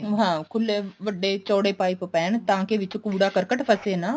ਹਾਂ ਖੁੱਲੇ ਵੱਡੇ ਚੋੜੇ pipe ਪੈਣ ਤਾਂ ਕੀ ਵਿੱਚ ਕੂੜਾ ਕੱੜਕਟ ਫਸੇ ਨਾ